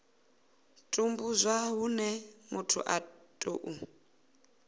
tambudzwa hune muthu a tou